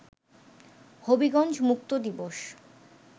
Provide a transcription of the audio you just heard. হবিগঞ্জ মুক্ত দিবস